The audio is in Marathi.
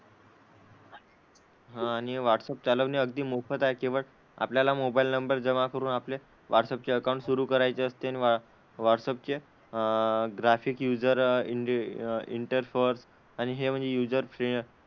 हां आणि व्हाट्सअप चालवणे अगदी मोफत आहे, केवळ आपल्याला मोबाईल नंबर जमा करून आपले व्हाट्सअप चे अकाउंट सुरू करायचे असते. नि व्हा व्हाट्सअपचे अह ग्राफिक युजर इंडी इंटरफॉर आणि हे म्हणजे यूजर फ्रें,